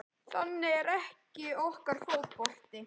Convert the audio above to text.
Þannig er ekki okkar fótbolti